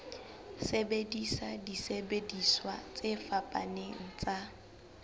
sebedisa disebediswa tse fapaneng tsa